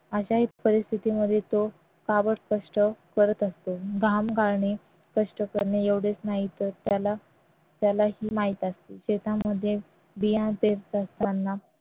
अशाही परिस्थितीमध्ये तो काबाडकष्ट करत असतो घाम गाळने कष्ट करणे एवढेच नाही तर त्याला त्यालाही माहित असते शेतामध्ये